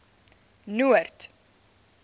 noord